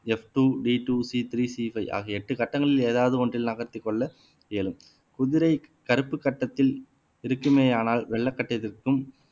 எப் two D two C three C five ஆகிய எட்டு கட்டங்களில் ஏதாவது ஒன்றில் நகர்த்திக் கொள்ள இயலும் குதிரை கருப்புக் கட்டத்தில் இருக்குமேயானால் வெள்ளை கட்டத்திற்கும்